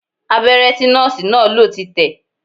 Abẹ́rẹ́ tí Nọ́ọ̀sì náà lò ti tẹ̀